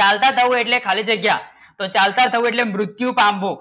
ચાલતા બહુ એટલે ખાલી જગ્યા તો ચાલત બહુ એટલે મ્ર્ત્યુ કા હો